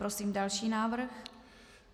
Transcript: Prosím další návrh.